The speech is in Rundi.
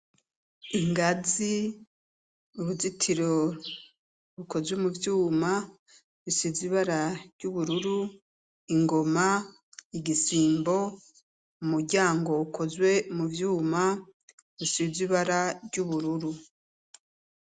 Ingazi, uruzitiro rukozwe muvyuma bisize ibara ryubururu, ingoma , igisimbo, umuryango ukozwe muvyuma bisizwe ibara ry’ubururu.